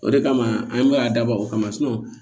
O de kama an bɛ a dabɔ o kama